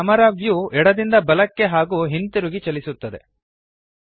ಈ camera view ಎಡದಿಂದ ಬಲಕ್ಕೆ ಹಾಗೂ ಹಿಂತಿರುಗಿ ಚಲಿಸುತ್ತದೆ